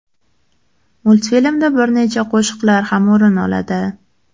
Multfilmda bir nechta qo‘shiqlar ham o‘rin oladi.